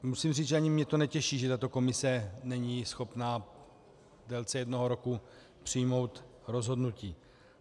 Musím říct, že ani mě to netěší, že tato komise není schopná v délce jednoho roku přijmout rozhodnutí.